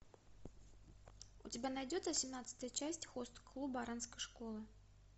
у тебя найдется семнадцатая часть хост клуба оранской школы